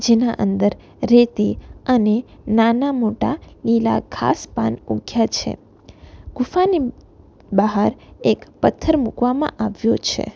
જેના અંદર રેતી અને નાના મોટા લીલા ઘાસ પાન ઊગ્યા છે ગુફાની બહાર એક પથ્થર મૂકવામાં આવ્યો છે.